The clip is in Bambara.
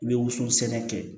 I bɛ woson sɛnɛ kɛ